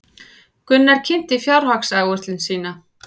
Gunnar kynnti fjárhagsáætlun sín